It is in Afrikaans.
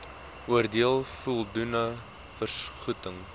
oordeel voldoende vergoeding